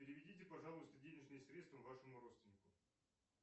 переведите пожалуйста денежные средства вашему родственнику